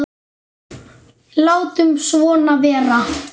Látum svona vera.